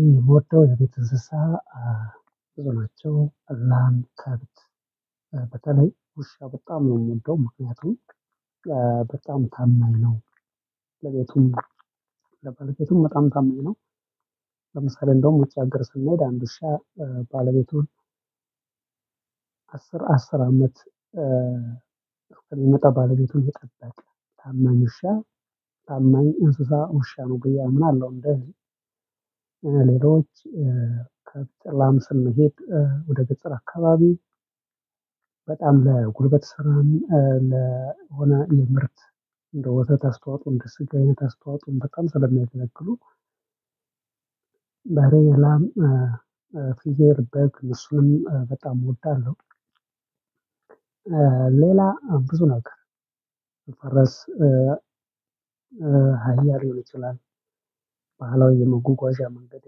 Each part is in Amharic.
የምወደው የቤት እንስሳ። ብዙ ናቸው ላም ከብት በተለይ ውሻ በጣም ነው የምወደው ምክንያቱም በጣም ታማኝ ነው። ለቤቱም ለባልቤቱም በጣም ታማኝ ነው። ለምሳሌ እንደውም ውጭ አገር ስንሄድ አንድ ሺህ ባለቤቱን አስር አስር አመት የመጣ ባለቤቱን ይቀበላል ታማኝ ውሻ ታማኝ እንስሳ ውሻ ነው ብዬ አምናለሁ። እንደዚህ ሌሎች ከፍጥላም ስንሄድ ወደ ገጠር አካባቢ በጣም ለጉልበት ስራም ለሆነ የምርት እንደ ወተት አስተዋፆ እንደ ስጋ አይነት አስተዋፆ በጣም ስለሚያገለግሉ በሬ ላም ፍየል በግ እነሱንም በጣም እወዳለሁ። ሌላ ብዙ ነገር ፈረስ ሃያ ሊሆን ይችላል ባህላዊ የመጎጓዣ መንገድ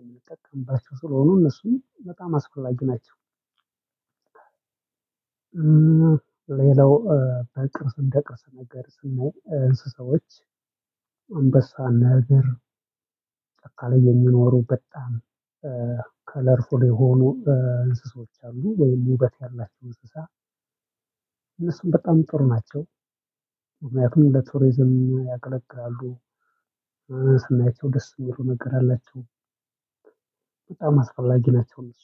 የምንጠቀምባቸው ስለሆኖ እነሱን በጣም አስፈላጊ ናቸው። ሌላው በጭራሽ እንደቀሰ ነገር ስናይ እንስሳዎች አንበሳ ነብር ጫካ ላይ የሚኖሩ በጣም ከለርፉል የሆኑ እንስሳዎች አሉ ወይም ውበት ያላቸው እንስሳ እነሱም በጣም ጥሩ ናቸው። ምክንያቱም ለቱሪዝም ያገለግላሉ። ስናያቸው ደስ የሚለው ነገር አላቸው። በጣም አስፈላጊ ናቸው እነሱ